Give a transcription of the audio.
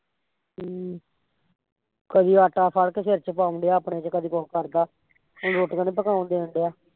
ਹਮ ਕਦੀ ਆਟਾ ਖੜ ਕੇ ਸਿਰ ਚ ਪਾਉਣ ਡਿਆ ਆਪਣੇ ਚ, ਕਦੀ ਕੁਸ਼ ਕਰਦਾ ਹੁਣ ਰੋਟੀਆਂ ਨੀ ਪਕਾਉਣ ਡੈਣ ਡਿਆ